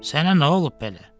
Sənə nə olub belə?